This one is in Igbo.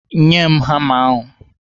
Nye m hama ahụ!